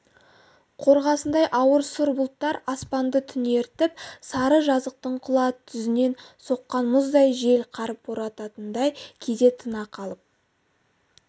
қорғасындай ауыр сұр бұлттар аспанды түнертіп сары жазықтың құла түзінен соққан мұздай жел қар борататындай кейде тына қалып